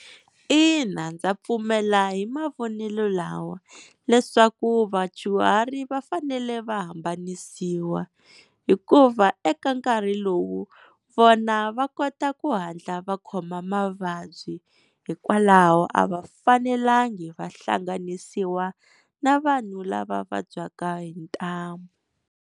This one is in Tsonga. Ina ndza pfumela hi mavonelo lawa leswaku vadyuhari va fanele va hambanisiwa, hikuva eka nkarhi lowu vona va kota ku hatla va khoma mavabyi hikwalaho a va fanelangi va hlanganisiwa na vanhu lava vabyaka hi ntamu.